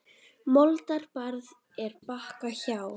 Moldar barð er Bakka hjá.